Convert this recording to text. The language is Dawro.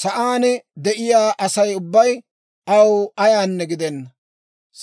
Sa'aan de'iyaa Asay ubbay aw ayaanne gidenna.